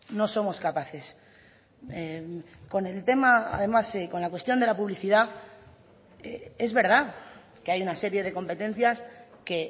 no somos capaces con el tema además con la cuestión de la publicidad es verdad que hay una serie de competencias que